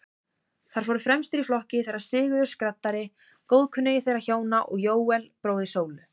Þar fóru fremstir í flokki þeir Sigurður skraddari, góðkunningi þeirra hjóna, og Jóel, bróðir Sólu.